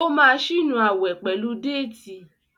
o má sí nù awe pẹlú Déètì.